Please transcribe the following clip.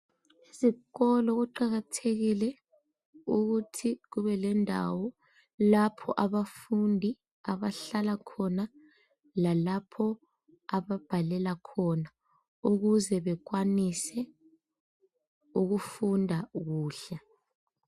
Ezikolo kuqakathekile ukuthi kubelendawo lapho abafundi abahlala khona lalapho ababhalela khona uuze bekwanise ukufunda kuhle.